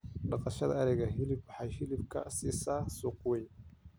Dhaqashada ariga hilibku waxay hilib ka siisaa suuq weyn.